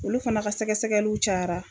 Olu fana ka sɛgɛsɛgɛliw cayara